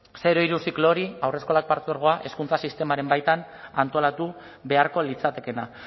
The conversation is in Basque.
zero hiru ziklo hori haurreskolak partzuergoa hezkuntza sistemaren baitan antolatu beharko litzatekeena